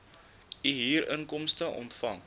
u huurinkomste ontvang